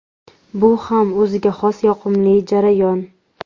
Bu ham o‘ziga xos yoqimli jarayon.